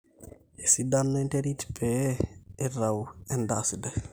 esidano enterit pee eitau endaa sidai